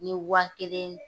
N ɲe wa kelen